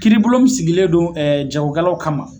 Kiiribulon min sigilen don jagokɛlaw kama